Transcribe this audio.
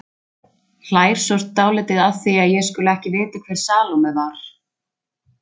Hlær svo dálítið að því að ég skuli ekki vita hver Salóme var.